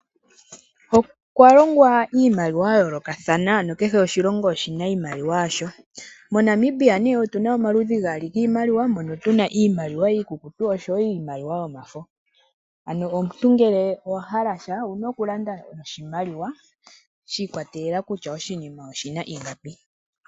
Okwa longwa iimaliwa ya yoolokathana mbyono kehw oshilongo oshina iimaliwa yasho. MoNamibia otuna mo omaludhi gaali giimaliwa mono tuna mo iimaliwa iikukutu oshowo iimaliwa yomafo, ano omuntu ngele owa hala sha owuna oku landa niimaliwa shi ikwatelela kutya oshina ingapi.